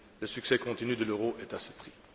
Le succès continu de l'euro est à ce prix.